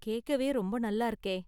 கேக்கவே ரொம்ப நல்லா இருக்கே!